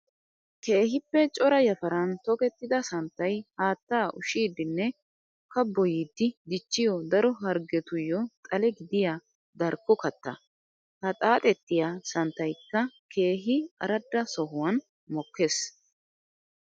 Keehippe cora yafaran tokkettida santtay haatta ushshidinne kabboyiddi dichiyo daro harggettuyo xale gidiya darkko katta. Ha xaaxxettiya santtaykka keehi aradda sohuwan mokees.